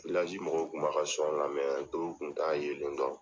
mɔgɔw kun b'a ka lamɛn dɔw kun t'a yelen dɔn